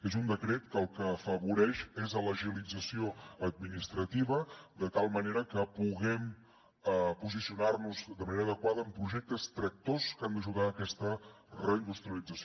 és un decret que el que afavoreix és l’agilització administrativa de tal manera que puguem posicionar nos de manera adequada en projectes tractors que han d’ajudar a aquesta reindustrialització